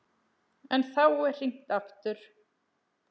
En þá er hringt aftur.